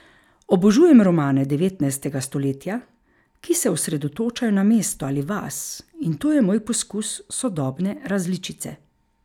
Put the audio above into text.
Obožujem romane devetnajstega stoletja, ki se osredotočajo na mesto ali vas, in to je moj poskus sodobne različice.